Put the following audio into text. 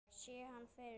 Sé hann fyrir mér.